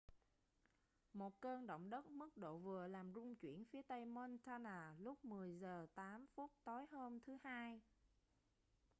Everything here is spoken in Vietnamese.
một cơn động đất mức độ vừa làm rung chuyển phía tây montana lúc 10:08 tối hôm thứ hai